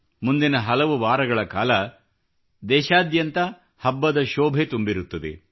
ಮುಂದಿನ ಹಲವು ವಾರಗಳ ಕಾಲ ದೇಶಾದ್ಯಂತ ಹಬ್ಬದ ಶೋಭೆ ತುಂಬಿರುತ್ತದೆ